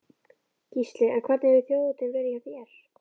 Gísli: En hvernig hefur þjóðhátíðin verið hjá þér?